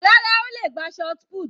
Rárá, ó le gbá shotput.